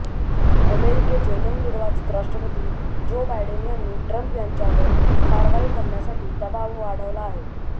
अमेरिकेचे नवनिर्वाचित राष्ट्रपती जो बायडेन यांनी ट्रम्प यांच्यावर कारवाई करण्यासाठी दबाब वाढवला आहे